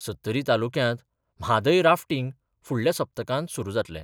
सत्तरी तालुक्यांत म्हादय राफ्टींग फुडल्या सप्तकांत सुरू जातलें.